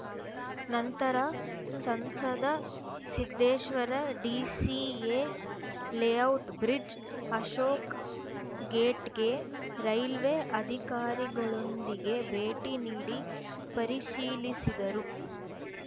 ನಂತರ ಸಂಸದ ಸಿದ್ದೇಶ್ವರ ಡಿಸಿಎ ಲೇಔಟ್‌ನ ಬ್ರಿಡ್ಜ್‌ ಅಶೋಕ ಗೇಟ್‌ಗೆ ರೈಲ್ವೆ ಅಧಿಕಾರಿಗಳೊಂದಿಗೆ ಭೇಟಿ ನೀಡಿ ಪರಿಶೀಲಿಸಿದರು